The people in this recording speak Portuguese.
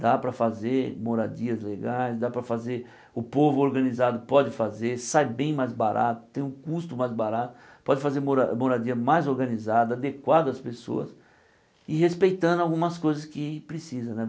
Dá para fazer moradias legais, dá para fazer o povo organizado pode fazer, sai bem mais barato, tem um custo mais barato, pode fazer mora moradia mais organizada, adequada às pessoas e respeitando algumas coisas que precisa né.